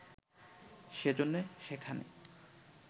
সেজন্যে সেখানে